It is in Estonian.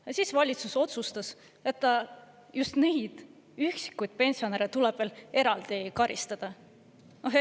Ja siis valitsus otsustas, et just neid üksikuid pensionäre tuleb veel eraldi karistada.